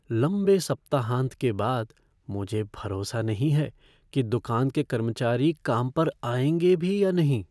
लंबे सप्ताहांत के बाद मुझे भरोसा नहीं है कि दुकान के कर्मचारी काम पर आएंगे भी या नहीं।